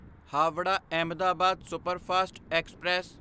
Howrah Ahmedabad superfast express